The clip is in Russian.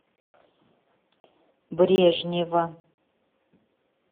брежнева